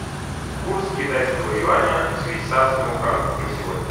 курс китайского юаня к швейцарскому франку на сегодня